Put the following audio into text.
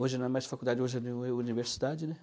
Hoje não é mais faculdade, hoje é é universidade, né?